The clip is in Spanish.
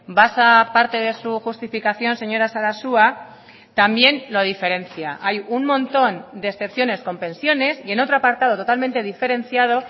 basa parte de su justificación señora sarasua también lo diferencia hay un montón de excepciones con pensiones y en otro apartado totalmente diferenciado